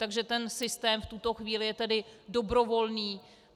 Takže ten systém v tuto chvíli je tedy dobrovolný.